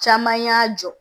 Caman y'a jɔ